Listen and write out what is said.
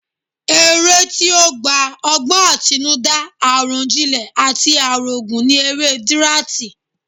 Eré tí ó gba ọgbọ́n àtinúdá, àròjinlẹ̀ àti àrògún ni eré dirati